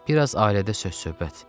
Bir az ailədə söz-söhbət.